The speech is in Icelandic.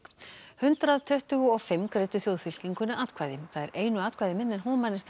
hundrað tuttugu og fimm greiddu atkvæði það er einu atkvæði minna en